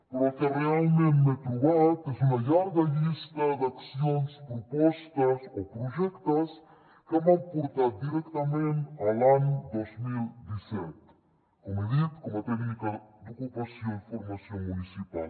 però el que realment m’he trobat és una llarga llista d’accions propostes o projectes que m’han portat directament a l’any dos mil disset com he dit com a tècnica d’ocupació i formació municipal